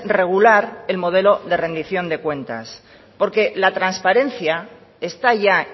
regular el modelo de rendición de cuentas porque la transparencia está ya